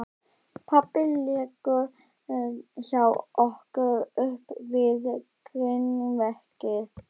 Pabbi liggur hjá okkur upp við grindverkið.